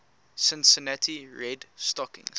cincinnati red stockings